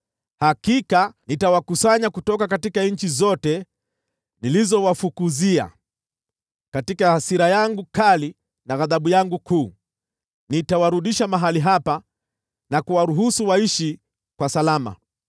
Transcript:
Hakika nitawakusanya kutoka nchi zote nilizowafukuzia katika hasira yangu kali na ghadhabu yangu kuu, nitawarudisha mahali hapa na kuwaruhusu waishi kwa salama.